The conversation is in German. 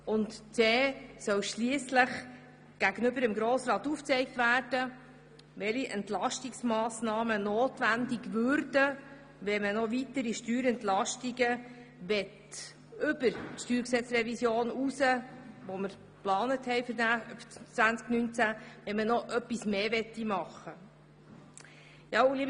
Weiter soll gegenüber dem Grossen Rat aufgezeigt werden, welche Entlastungsmassnahmen notwendig würden, wenn man weitere Steuerentlastungen beschlösse, die über die Steuergesetzrevision hinausgingen.